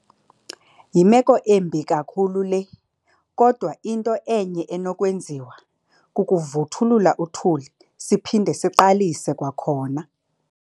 Yimeko embi kakhulu le, kodwa into enye enokwenziwa kukuvuthulula uthuli siphinde siqalise kwakhona.